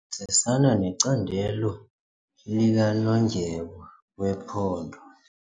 sebenzisana necandelo likanondyebo wephondo.